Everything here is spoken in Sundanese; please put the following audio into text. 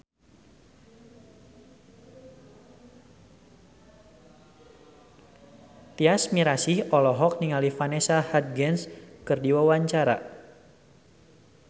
Tyas Mirasih olohok ningali Vanessa Hudgens keur diwawancara